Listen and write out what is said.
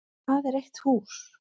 Hvað er eitt hús?